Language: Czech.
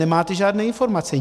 Nemáte žádné informace.